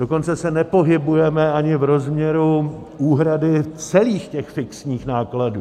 Dokonce se nepohybujeme ani v rozměru úhrady celých těch fixních nákladů.